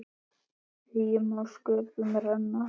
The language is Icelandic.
Eigi má sköpum renna